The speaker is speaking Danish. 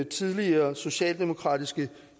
tidligere socialdemokratiske